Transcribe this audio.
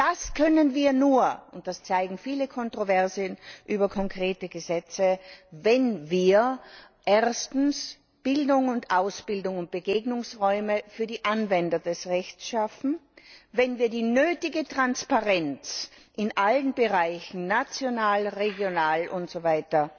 Das können wir nur und das zeigen viele Kontroversen über konkrete Gesetze wenn wir Bildung und Ausbildung und Begegnungsräume für die Anwender des Rechts schaffen, wenn wir die nötige Transparenz in allen Bereichen national, regional usw.